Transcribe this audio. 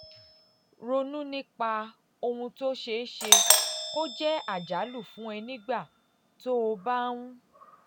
ronú nípa ohun tó ṣeé ṣe kó um jẹ́ àjálù fún ẹ nígbà tó o bá ń